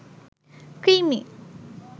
কৃমি